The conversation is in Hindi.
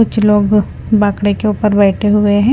कुछ लोग बाखड़े के ऊपर बैठे हुए हैं।